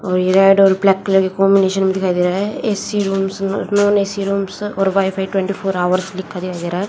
और ये रेड और ब्लैक कलर की कॉम्बिनेशन में दिखाई दे रहा है ए_सी रूम्स और नॉन ए_सी रूम्स और वाईफाई ट्वेंटी फोर हॉवर्स लिखा दिखाई दे रहा है।